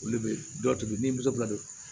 Olu be dɔ to yen ni muso bilalen do